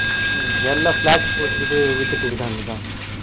உம் எல்லா flat பட்டுகிட்டு வித்துக்கிட்டு இருக்காங்கப்ப